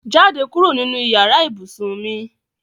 Jade kuro ninu iyara ibusun mi